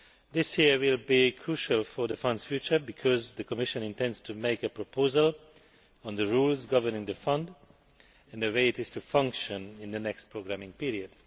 This year will be crucial for the Fund's future, because the Commission intends to make a proposal on the rules governing the fund and the way it will function in the next programming period.